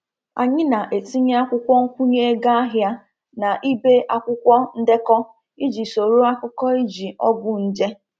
Anyị na-etinye akwụkwọ nkwụnye ego ahịa na ibe akwụkwọ ndekọ iji soro akụkọ iji ọgwụ nje.